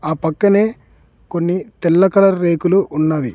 ఆ పక్కనే కొన్ని తెల్ల కలర్ రేకులు ఉన్నవి.